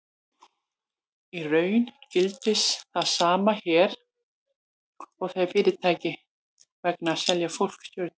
Í raun gildir það sama hér og þegar fyrirtæki reyna að selja fólki stjörnur.